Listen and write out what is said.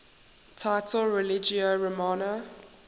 title religio romana